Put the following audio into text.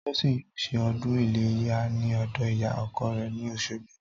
Tósìn yóò se o̩dún iléyá ní ò̩dò̩ ìyá o̩ko̩ rè̩ ní Òs̩ogbo